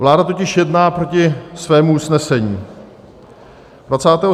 Vláda totiž jedná proti svému usnesení.